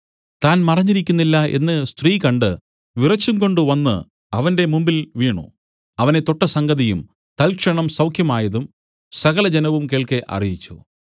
താൻ മറഞ്ഞിരിക്കുന്നില്ല എന്നു സ്ത്രീ കണ്ട് വിറച്ചുംകൊണ്ടു വന്നു അവന്റെ മുമ്പിൽ വീണു അവനെ തൊട്ട സംഗതിയും തൽക്ഷണം സൌഖ്യമായതും സകലജനവും കേൾക്കെ അറിയിച്ചു